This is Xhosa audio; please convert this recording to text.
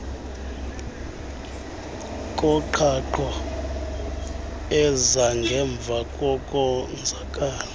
koqhaqho ezangemva kokonzakala